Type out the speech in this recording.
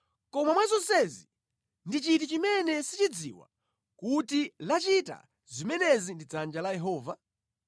Kodi mwa zonsezi ndi chiti chimene sichidziwa kuti lachita zimenezi ndi dzanja la Yehova?